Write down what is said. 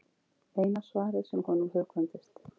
Eina svarið sem honum hugkvæmdist.